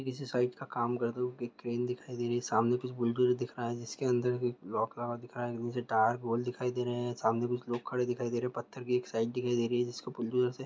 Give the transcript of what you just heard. ये किसी साइट का काम करते हुए एक क्रेन दिखाई दे रही है सामने कुछ बुलडोज़र दिख रहा है जिसके अंदर कोई लोक लगा दिख रहा है नीचे टायर गोल दिखाई दे रहे है सामने कुछ लोग खड़े दिखाई दे रहे पत्थर की एक साइट दिखाई दे रही है जिसको बुलडोज़र से--